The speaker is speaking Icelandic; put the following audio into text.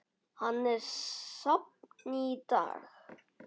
Hann er safn í dag.